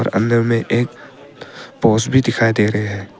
अंदर में एक पोल्स भी दिखाई दे रहे है।